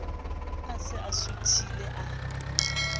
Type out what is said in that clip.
a se a suthile a